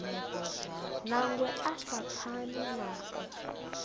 nangwe a sa pfani nao